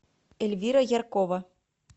эльвира яркова